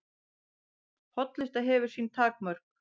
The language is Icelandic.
Hollusta hefur sín takmörk